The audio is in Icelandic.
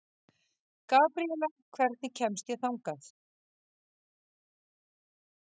Gabriela, hvernig kemst ég þangað?